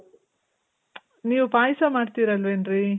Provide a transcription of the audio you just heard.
ನೀವ್ ಪಾಯ್ಸ ಮಾಡ್ತಿರ್ ಅಲ್ವೇನ್ರಿ?